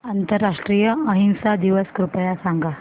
आंतरराष्ट्रीय अहिंसा दिवस कृपया सांगा